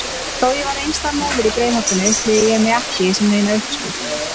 Þó ég væri einstæð móðir í Breiðholtinu upplifði ég mig ekki sem neina uppskrift.